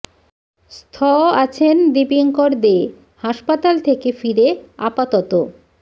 স্থ আছেন দীপিঙ্কর দে হাসপাতাল থেকে ফিরে আপাতত